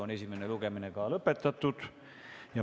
Esimene lugemine on lõpetatud.